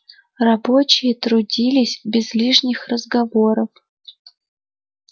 рабочие трудились без лишних разговоров